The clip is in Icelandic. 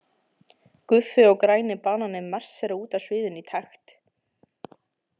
Guffi og græni bananinn marsera út af sviðinu í takt.